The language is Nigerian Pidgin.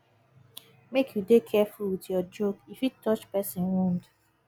make you dey careful with your joke e fit touch person wound